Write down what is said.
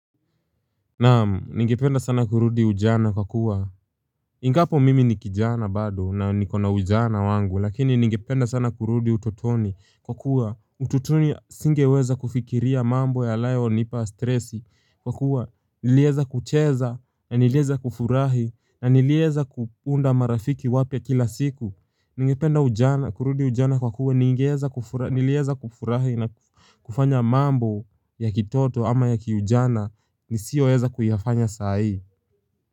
Naam, ningependa sana kurudi ujana kwa kuwa Ingapo mimi ni kijana bado na nikona ujana wangu lakini ningependa sana kurudi utotoni kwa kuwa utotoni singeweza kufikiria mambo ya layo nipa stresi kwa kuwa nilieza kucheza na nilieza kufurahi na nilieza kuunda marafiki wapya kila siku Ningependa ujana kurudi ujana kwa kuwa ningeeza kufurahi nilieza kufurahi na kufanya mambo ya kitoto ama ya kiujana ni siyo eza kuyafanya saa hii.